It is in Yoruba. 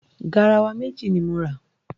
Garawa méjì ni m ra.